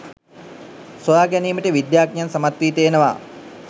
සොයා ගැනීමට විද්‍යාඥයන් සමත් වී තියෙනවා